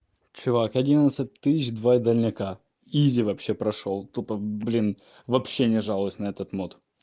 чувак одиннадцать тысяч два дальняка изи вообще прошёл тупо блин вообще не жалуюсь на этот мод